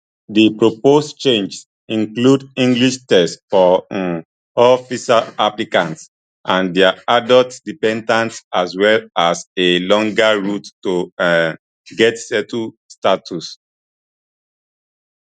di proposed changes include english tests for um all visa applicants and dia adult dependants as well as a longer route to um get settled status